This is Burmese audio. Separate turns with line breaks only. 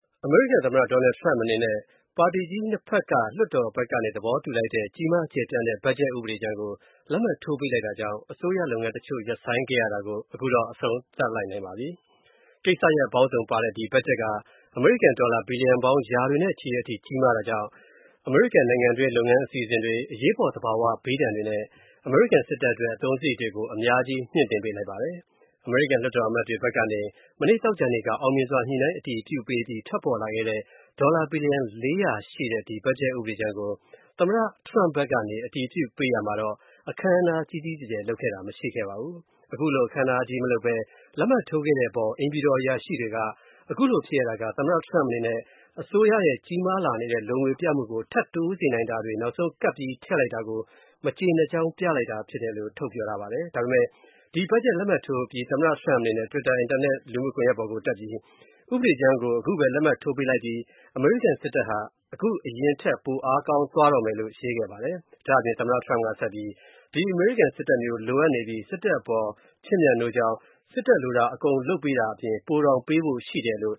အမေရိကန် သမ္မတ Donald Trump အနေနဲ့ ပါတီကြီး နှစ်ဘက်သဘောတူ လိုက်တဲ့ကြီးမားကျယ်ပြန့်တဲ့ ဘတ်ဂျက်ဥပဒေကြမ်းကို လက်မှတ်ထိုးပေးလိုက်တာကြောင့်အစိုးရလုပ်ငန်းတချို.ရပ်ဆိုင်းခဲ့ရတာကို အဆုံးသတ်နိုင်လိုက်ပါပြီ။ ကိစ္စရပ်ပေါင်းစုံအတွက်ပါတဲ့ ဒီ ဘတ်ဂျက်က အမေရိကန် ဒေါ်လာ ဘီလျံပေါင်း ရာတွေနဲ့ချီတဲ့အထိ ကြီးမားတာကြောင့် ပြည်တွင်းလုပ်ငန်းအစီအစဉ်တွေ၊ အရေးပေါ်သဘာဝဘေးဒဏ်တွေနဲ့ စစ်တပ်အတွက် အသုံးစရိတ်တွေကို အများကြီး မြှင့်တင်ပေးလိုက်ပါတယ်။ အမေရိကန် လွှတ်တော်အမတ်တွေဘက်ကနေ မနေ့ သောကြာနေ့က အောင်မြင်စွာ ညှိုနှိုင်းအတည်ပြုပေးအပြီး ထွက်ပေါ်လာတဲ့ ဒေါ်လာ ဘီလီယံ ၄၀၀ ရှိတဲ့ ဒီ ဘတ်ဂျက်ဥပဒေကြမ်းကို သမ္မတ Trump ဖက်က အတည်ပြုပေးရာမှာအခမ်းအနားကြီးကြီးကျယ်ကျယ်လုပ်ခဲ့တာတော့ မရှိပါဘူး။ ခုလို အခမ်းအနားကြီးမလုပ်ပဲ လက်မှတ်ထိုးခဲ့တဲ့အပေါ် အိမ်ဖြူတော် အရာရှိတွေကခုလိုဖြစ်ရတာက သမ္မတ Trump အနေနဲ့ အစိုးရရဲ့ ကြီးမားလာနေတဲ့ လိုငွေပြမှုကို ထပ်တိုးစေနိုင်တာတွေ နောက်ဆုံးကပ်ပြီး ထပ်ထည့်လိုက်တာကို မကျေနပ်ကြောင်း ပြလိုက်တာဖြစ်တယ်လို့ ပြောထားပါတယ်။ ဒါပေမဲ့ ဒီဘတ်ဂျက်လက်မှတ်ထိုးအပြီး သမ္မတ Trump အနေနဲ့ တွစ်တာ အင်တာနက်လူမှုကွန်ယက်ပေါ်တက်ပြီး ဥပဒေကြမ်းကို ခုပဲ လက်မှတ်ထိုးပေးလိုက်ပြီ၊ အမေရိကန် စစ်တပ်ဟာ အခု အရင်ထက် ပိုအားကောင်းသွားတော့မယ်လို့ ရေးခဲ့ပါတယ်။ ဒါ့အပြင် သမ္မတ Trump က ဆက်ပြီးဒီစစ်တပ်မျိုး လိုအပ်နေပြီး၊ စစ်တပ်အပေါ် ချစ်မြတ်နိုးကြောင်း၊ စစ်တပ်လိုတာအကုန်ပေးတာအပြင် ပိုတောင် ပေးဖို့ရှိတယ်လို့